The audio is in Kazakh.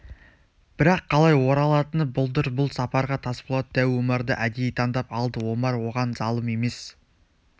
бірақ қалай оралатыны бұлдыр бұл сапарға тасболат дәу омарды әдейі таңдап алды омар оған залым емес